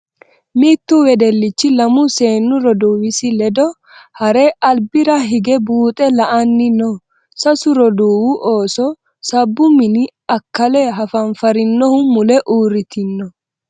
Mittu wedellichi lamu seennu roduuwisi ledo heere albira higge buuxe la'anni no. Sasu rooduuwu ooso sabbu mini akkale hafanfarinohu mule uurritino.